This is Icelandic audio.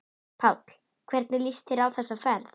Páll: Hvernig líst þér á þessa ferð?